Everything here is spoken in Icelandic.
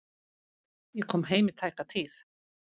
Ég kom heim í tæka tíð.